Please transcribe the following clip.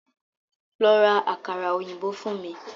Lọ́ rá àkàrà òyìnbó fún mí!